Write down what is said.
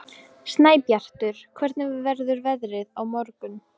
Snæbjartur, hvernig verður veðrið á morgun?